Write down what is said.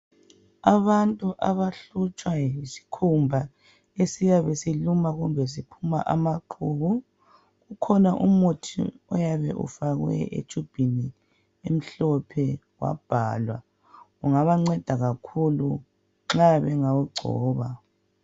Abantu abahlutshwa yisikhumba esiyabe siluma kumbe siphuma amaqubu. Ukhona umuthi oyabe ufakwe etshubhini emhlophe wabhalwa ungabanceda kakhulu nxa bengawugcoba.